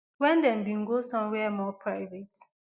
wen dem bin go somewhere more private